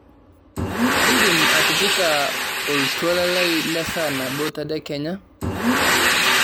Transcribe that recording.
indim atipika oltuala lai lesaa nabo tedekenya